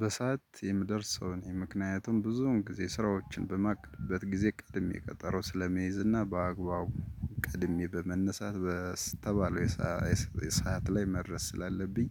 በሰአት የምደርስ ሰው ነኝ ምክንያቱም ብዙውን ጊዜ ስራዎችን በማቀርብበት ጊዜ ቀድሜ ቀጠሮ ስለመይዝና በአግባቡ ቀድሜ በመነሳት በስተባለው የሰዓት ላይ መድረስ ስላለብኝ